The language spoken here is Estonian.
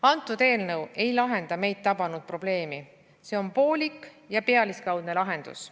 Antud eelnõu ei lahenda meid tabanud probleemi, see on poolik ja pealiskaudne lahendus.